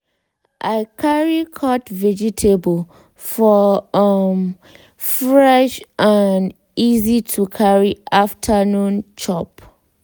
i carry cut vegetable for um fresh um easy to carry afternoon chop.